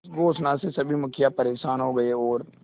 इस घोषणा से सभी मुखिया परेशान हो गए और